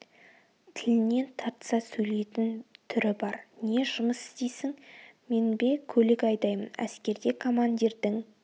тілінен тартса сөйлейтін түрі бар не жұмыс істейсің мен бе көлік айдаймын әскерде командирдің